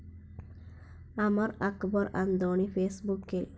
അമർ അക്ബർ അന്തോണി ഫേസ്‌ബുക്കിൽ